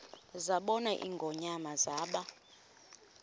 zabona ingonyama zaba